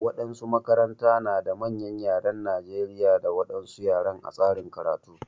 Waɗansu makaranta na da manyan ƴaren Najeriƴa da wadansu ƴaren a tsarin karatu.